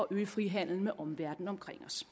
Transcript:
øget frihandel med omverdenen omkring os